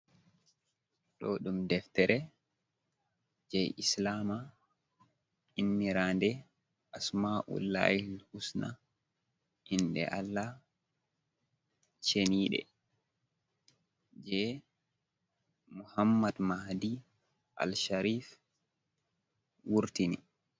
Ɗo ɗum deftere je islama, innirande asma’ul lahi husna inde allah cheniɗe, je muhammad madi al sharif wurtini.